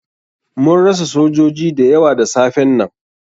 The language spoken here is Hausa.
Mun rasa sojoji da yawa da safen nan.